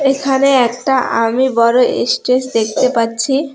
এখানে একটা আমি বড় এস্টেজ দেখতে পাচ্ছি।